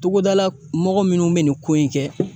Togodala mɔgɔ minnu bɛ nin ko in kɛ